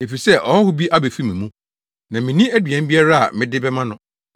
efisɛ ɔhɔho bi abefu me mu, na minni aduan biara a mede bɛma no,’